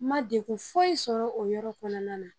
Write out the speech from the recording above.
N ma degun foyi sɔrɔ o yɔrɔ kɔnɔna na